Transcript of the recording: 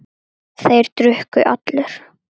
Þeir drukku allir.